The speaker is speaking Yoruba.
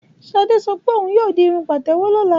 Ṣadé sọ pé òhun yóò di irun Pàtẹ́wọ́ lọ́la.